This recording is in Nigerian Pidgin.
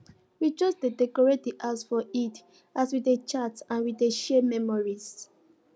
we just dey decorate the house for eid as we dey chat and we dey share memories